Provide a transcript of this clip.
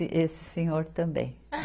E esse senhor também.